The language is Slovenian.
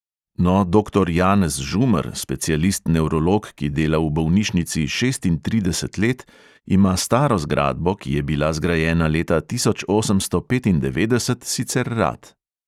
No, doktor janez žumer, specialist nevrolog, ki dela v bolnišnici šestintrideset let, ima staro zgradbo, ki je bila zgrajena leta tisoč osemsto petindevetdeset, sicer rad.